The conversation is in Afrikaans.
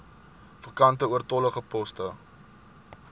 vakante oortollige poste